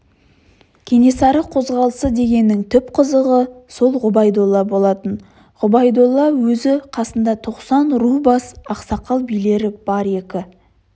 кенесары қозғалысы дегеннің түп қазығы сол ғұбайдолла болатын ғұбайдолла өзі қасында тоқсан ру басы ақсақал билері бар екі